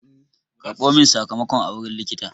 Karɓo min sakamakon a wurin likita!